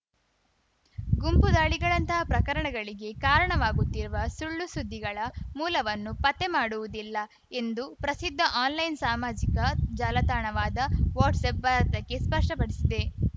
ಗುಂಪು ದಾಳಿಗಳಂಥ ಪ್ರಕರಣಗಳಿಗೆ ಕಾರಣವಾಗುತ್ತಿರುವ ಸುಳ್ಳುಸುದ್ದಿಗಳ ಮೂಲವನ್ನು ಪತ್ತೆಮಾಡುವುದಿಲ್ಲ ಎಂದು ಪ್ರಸಿದ್ಧ ಆನ್‌ಲೈನ್‌ ಸಾಮಾಜಿಕ ಜಾಲತಾಣವಾದ ವಾಟ್ಸಪ್‌ ಭಾರತಕ್ಕೆ ಸ್ಪಷ್ಟಪಡಿಸಿದೆ